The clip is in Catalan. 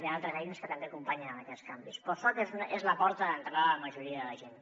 hi han altres eines que també acompanyen en aquests canvis però el soc és la porta d’entrada de la majoria de la gent